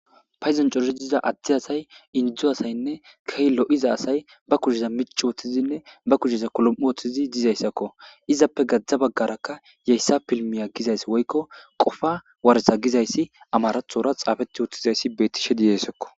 Payzan coridiza adti asay inidzu asaynne kehllo iza asay ba kuheza mich woththizinne ba kuheza kolom ooththizi dizayssakko izappe gadzdza baggaraka yeyssa pilmiya gizays woykko qofa waretha gizayssi amarathora xaafeti woththizayssi bettishe diyeyssakko